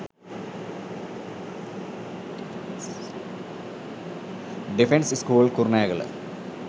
defence shcool kurunagala